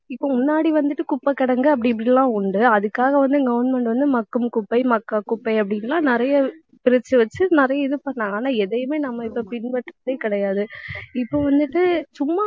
இப்ப முன்னாடி வந்துட்டு குப்பை கிடங்கு அப்படி இப்படி எல்லாம் உண்டு. அதுக்காக வந்து government வந்து மக்கும் குப்பை, மக்கா குப்பை அப்படின்னு எல்லாம் நிறைய பிரிச்சு வச்சு நிறைய இது பண்ணாங்க. ஆனா எதையுமே நம்ம இப்ப பின்பற்றதே கிடையாது. இப்ப வந்துட்டு சும்மா